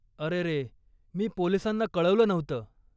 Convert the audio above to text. अरेरे, मी पोलिसांना कळवलं नव्हतं.